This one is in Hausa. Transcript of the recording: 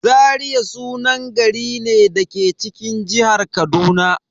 Zaria sunan gari ne da ke cikin jihar Kaduna.